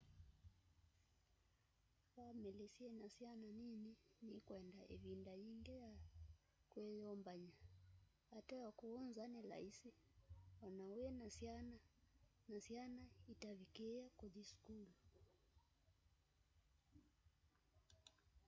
vamili syina syana nini nikwenda ivinda yingi ya kwiyumbany'a ateo kuu nza ni laisi o na wina syana na syana itavikííe kuthi sukulu